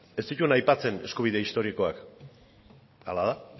ez zituen aipatzen eskubide historikoak hala da